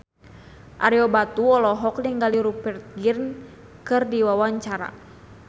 Ario Batu olohok ningali Rupert Grin keur diwawancara